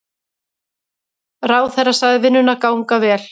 Ráðherra sagði vinnuna ganga vel.